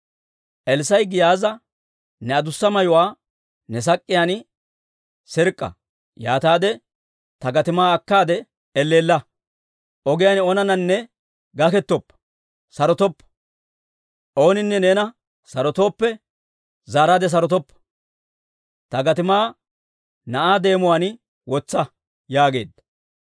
Elssaa'i Giyaaza, «Ne adussa mayuwaa ne sak'k'iyaan sirk'k'a; yaataade ta gatimaa akkaade elleella, ogiyaan oonananne gakkettooppe, sarotoppa; ooninne neena sarotooppe, zaaraadde sarotoppa. Ta gatimaa na'aa deemuwaan wotsa» yaageedda.